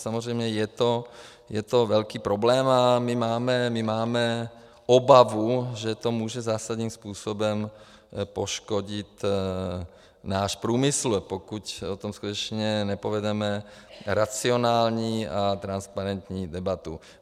Samozřejmě je to velký problém a my máme obavu, že to může zásadním způsobem poškodit náš průmysl, pokud o tom skutečně nepovedeme racionální a transparentní debatu.